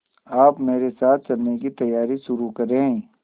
आप मेरे साथ चलने की तैयारी शुरू करें